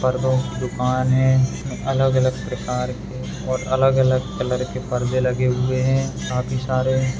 पर्दो की दुकान हैं अलग-अलग प्रकार के और अलग-अलग कलर के पर्दे लगे हुए हैं काफी सारे --